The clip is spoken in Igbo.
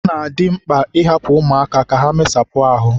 ọ na-adị mkpa ịhapụ ụmụaka ka ha mesapụ ahụ